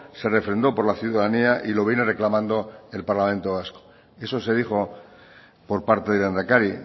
se refrendó por la ciudadanía y lo viene reclamando el parlamento vasco eso se dijo por parte del lehendakari